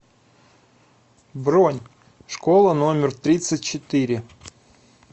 бронь школа номер тридцать четыре